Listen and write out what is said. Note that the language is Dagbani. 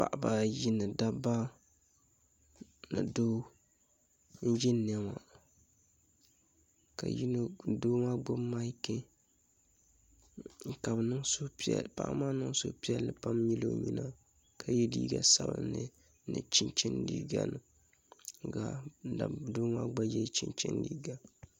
Paɣaba ayi ni doo n ʒiya ŋo ka doo maa gbubi maiki ka paɣa maa niŋ suhupiɛlli pam nyili o nyina ka yɛ liiga sabunli ni chinchin liiga ka doo maa gba yɛ chinchin liiga